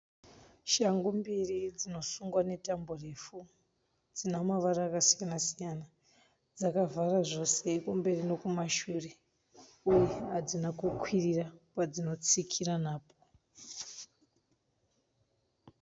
Shangu mbiri dzinosungwa netambo refu dzina mavara akasiyana siyana dzakavhara zvose kumberi nokumashure uye hadzina kukwirira kwadzinotsikira napo.